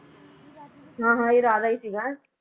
ਹਾਂ ਹਾਂ ਇਹ ਰਾਜਾ ਹੀ ਸੀਗਾ।